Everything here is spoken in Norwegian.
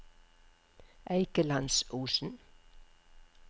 Eikelandsosen